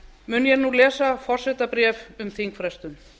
mun ég nú lesa forsetabréf um þingfrestun